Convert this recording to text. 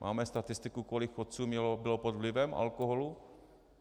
Máme statistiku, kolik chodců bylo pod vlivem alkoholu?